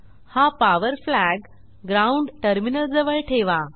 हा power flag ground टर्मिनलजवळ ठेवा